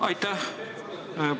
Aitäh!